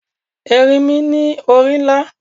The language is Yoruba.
Erinmi ni ori nla